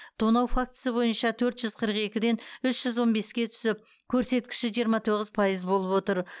тонау фактісі бойынша төрт жүз қырық екіден үш жүз он беске түсіп көрсеткіші жиырма тоғыз пайыз болып отыр